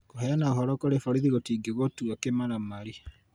kũheana ũhoro kũrĩ borithi gũtingĩgũtua kĩmaramari